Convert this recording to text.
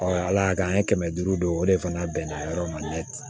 ala y'a kɛ an ye kɛmɛ duuru don o de fana bɛnna yɔrɔ ma